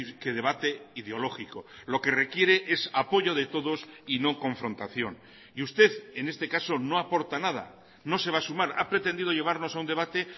que debate ideológico lo que requiere es apoyo de todos y no confrontación y usted en este caso no aporta nada no se va a sumar a pretendido llevarnos a un debate